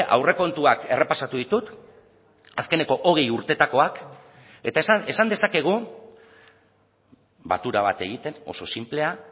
aurrekontuak errepasatu ditut azkeneko hogei urteetakoak eta esan dezakegu batura bat egiten oso sinplea